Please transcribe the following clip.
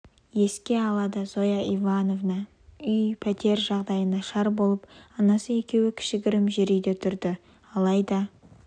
еске алады зоя ивановна үй-пәтер жағдайы нашар болып анасы екеуі кішігірім жер үйде тұрды алайда